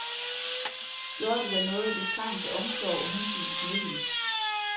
Gjorde det da noget, hvis trangen til omsorg og hensyn smittede?